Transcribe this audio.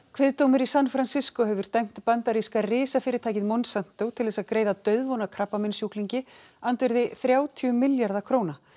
kviðdómur í San hefur dæmt bandaríska risafyrirtækið Monsanto til þess að greiða dauðvona krabbameinssjúklingi andvirði þrjátíu milljarða króna